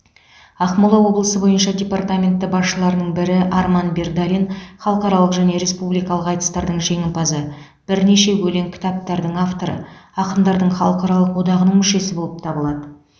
ақмола облысы бойынша департаменті басшыларының бірі арман бердалин халықаралық және республикалық айтыстардың жеңімпазы бірнеше өлең кітаптардың авторы ақындардың халықаралық одағының мүшесі болып табылады